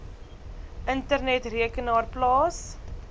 internet rekenaar plaas